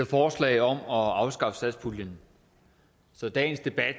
forslag om at afskaffe satspuljen så dagens debat